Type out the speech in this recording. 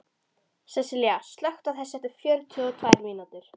Sessilía, slökktu á þessu eftir fjörutíu og tvær mínútur.